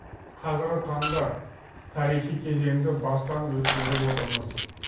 қазіргі таңда тарихи кезеңді бастан өткеріп отырмыз